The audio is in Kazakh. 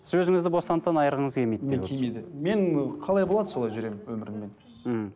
сіз өзіңізді бостандықтан айырғыңыз келмейді мен келмейді мен қалай болады солай жүремін өміріммен мхм